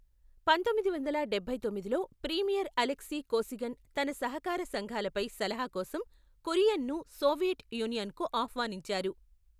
పంతొమ్మిది వందల డబ్బై తొమ్మిదిలో ప్రీమియర్ అలెక్సీ కోసిగిన్ తన సహకార సంఘాలపై సలహా కోసం కురియన్ను సోవియట్ యూనియన్కు ఆహ్వానించారు.